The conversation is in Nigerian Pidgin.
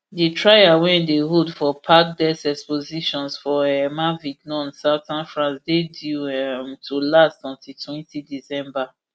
di trial wey dey hold for parc des expositions for um avignon southern france dey due um to last until twenty december